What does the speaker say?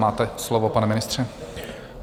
Máte slovo, pane ministře.